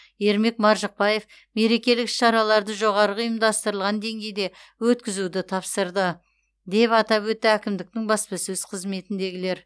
ермек маржықпаев мерекелік іс шараларды жоғарғы ұйымдастырылған деңгейде өткізуді тапсырды деп атап өтті әкімдіктің баспасөз қызметіндегілер